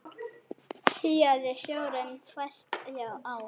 Síaði sjórinn fæst á